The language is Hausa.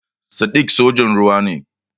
Sadiq sojan ruwa ne.